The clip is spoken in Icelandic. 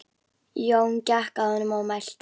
Jón gekk að honum og mælti